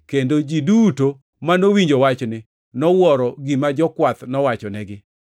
Kendo ji duto manowinjo wachni, nowuoro gima jokwath nowachonegi.